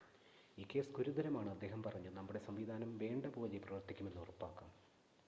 ഈ കേസ് ഗുരുതരമാണ് അദ്ദേഹം പറഞ്ഞു നമ്മുടെ സംവിധാനം വേണ്ട പോലെ പ്രവർത്തിക്കുന്നെന്ന് ഉറപ്പാക്കാം